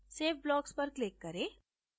save blocks पर click करें